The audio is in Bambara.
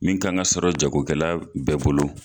Min kan ka sɔrɔ jago kɛla bɛɛ bolo.